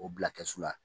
O bila kɛsu la